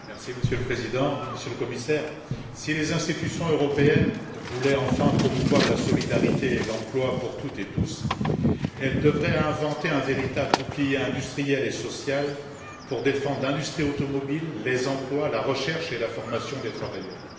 Monsieur le Président, Monsieur le Commissaire, si les institutions européennes voulaient enfin promouvoir la solidarité et l'emploi pour toutes et tous, elles devraient inventer un véritable bouclier industriel et social pour défendre l'industrie automobile, les emplois, la recherche et la formation des travailleurs.